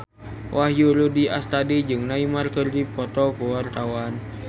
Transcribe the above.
Wahyu Rudi Astadi jeung Neymar keur dipoto ku wartawan